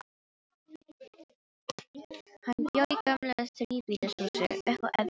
Hann bjó í gömlu þríbýlishúsi, uppi á efstu hæð.